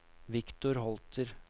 Victor Holter